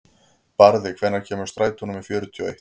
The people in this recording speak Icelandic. Barði, hvenær kemur strætó númer fjörutíu og eitt?